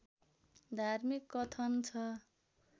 धार्मिक कथन छ